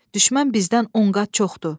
Düşmən bizdən on qat çoxdur.